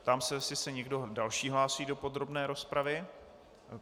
Ptám se, jestli se někdo další hlásí do podrobné rozpravy.